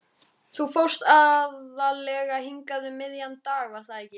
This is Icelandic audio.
Þú fórst aðallega hingað um miðjan dag, var það ekki?